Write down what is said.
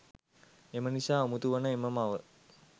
එමනිසා උමතු වන එම මව